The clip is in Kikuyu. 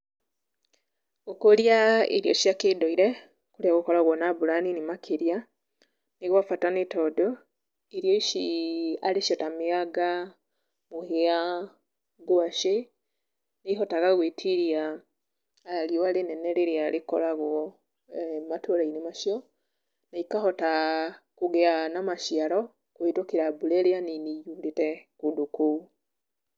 Gũkũria irio cia kĩndũire, nĩgũkoragwo na mbura na nini makĩria, nĩ gwabata nĩ tondũ irio ici arĩ cio ta mĩanga, mũhĩa, ngwacĩ, nĩihotaga gwĩtiria riũa rĩnene rĩrĩa rĩkoragwo eh matũra-inĩ macio, na ikahota kũgĩa na maciaro kũhetũkĩra mbura ĩrĩa nini yurĩte kũndũ kũu.